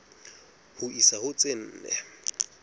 ho isa ho tse nne